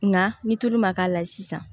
Nka ni tulu ma k'a la sisan